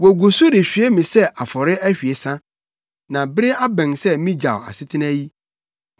Wogu so rehwie me sɛ afɔre ahwiesa, na bere abɛn sɛ migyaw asetena yi.